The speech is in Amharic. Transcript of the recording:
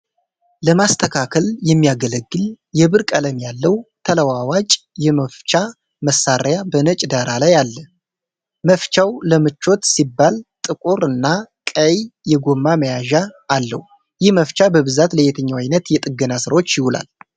ለማስተካከል የሚያገለግል የብር ቀለም ያለው ተለዋዋጭ የመፍቻ መሳሪያ በነጭ ዳራ ላይ አለ። መፍቻው ለምቾት ሲባል ጥቁር እና ቀይ የጎማ መያዣ አለው። ይህ መፍቻ በብዛት ለየትኛው ዓይነት የጥገና ሥራዎች ይውላል?